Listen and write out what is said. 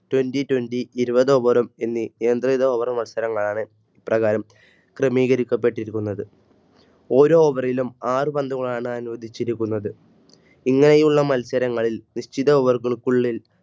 Twenty Twenty ഇരുവത് Over എന്നീനിയന്ത്രിത Over മത്സരങ്ങലുമാണ് ക്രമീകരിക്കപ്പെട്ടിരിക്കുന്നത്. ഓരോ Over ലും ആറ് പന്തുകളാണ് അനുവദിച്ചിരിക്കുന്നത് ഇങ്ങനെയുള്ള മത്സരങ്ങളിൽ നിശ്ചിത Over കൾക്കുള്ളിൽ